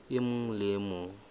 e mong le e mong